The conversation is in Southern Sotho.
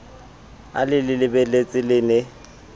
a le lebeletse le ne